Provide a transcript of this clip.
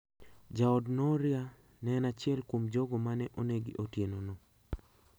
Jaod Nooria ne en achiel kuom jogo ma ne onegi otieno no.